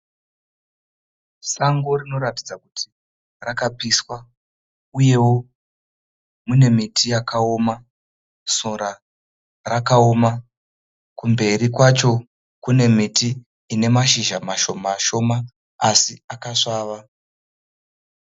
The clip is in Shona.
Sango rinoratidza kuti rakapiswa uyewo mune miti yakaoma, sora rakaoma, kumberi kwacho kune miti inemashizha mashoma shoma asi akasvava.